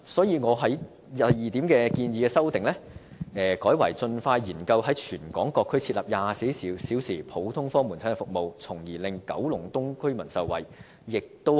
因此，我就第二點建議作出修訂，改為"盡快研究在全港各區設立24小時普通科門診服務，從而令九龍東居民受惠"。